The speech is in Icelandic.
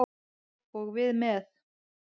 Og við með.